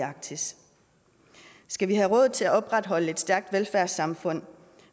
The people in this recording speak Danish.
arktis skal vi have råd til at opretholde et stærkt velfærdssamfund